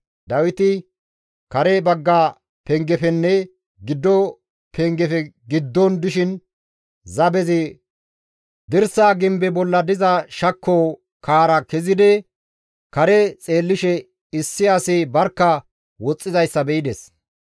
Dawiti kare bagga pengefenne giddo pengefe giddon dishin zabezi dirsaa gimbe bolla diza shakko kaara kezidi kare xeellishe issi asi barkka woxxizayssa be7ides.